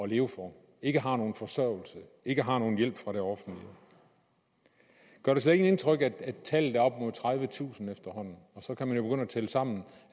leve for ikke har nogen forsørgelse ikke har nogen hjælp fra det offentlige gør det slet ikke indtryk at tallet er op mod tredivetusind efterhånden og så kan man jo begynde at tælle sammen